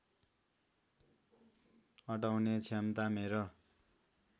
अटाउने क्षमता मेरो